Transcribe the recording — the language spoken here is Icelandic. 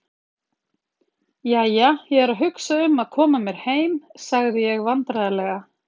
Jæja, ég er að hugsa um að koma mér heim sagði ég vandræðalega.